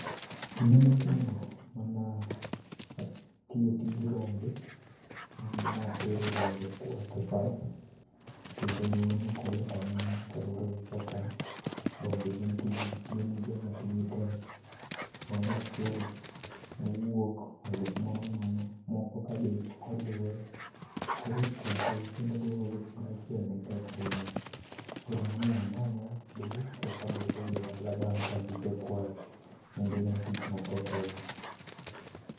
Kinde mokuongo manaa tiyo tij rombe, natero rombe kwath e pap kendo, nokoyot ainya kalure gi kaka rombe gin joma tijgi tek. Rombo achiel nowuok olu moro nono moko ka be kolue. Koro chokogi kendo duokogi kumoro achiel netek ainya. Koro nomiyo amanyra kodgi kekaduokogi e dala bang' kagisekwayo kendo nen tich matek ainya.